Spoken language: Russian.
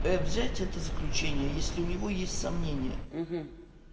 взять это заключение если у него есть сомнение